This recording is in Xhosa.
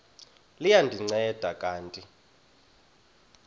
liya ndinceda kanti